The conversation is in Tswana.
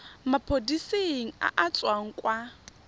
maphodiseng a a tswang kwa